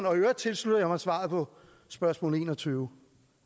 øvrigt tilslutter jeg mig svaret på spørgsmål enogtyvende